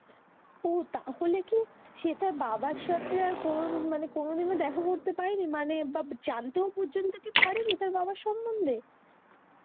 ওহ তাহলে কি সে তার বাবার সাথে মানে কোনোদিনও দেখা করতে পারেনি বা জানতেই পর্যন্ত কি পারেনি তার বাবার সম্পর্কে